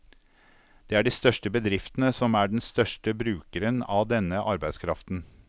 Det er de største bedriftene som er den største brukeren av denne arbeidskraften.